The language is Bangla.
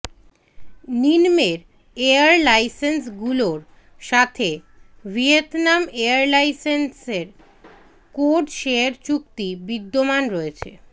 নিন্মের এয়ারলাইন্সগুলোর সাথে ভিয়েতনাম এয়ারলাইন্সের কোডশেয়ার চুক্তি বিদ্যমান রয়েছে